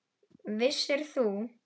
Vissir þú?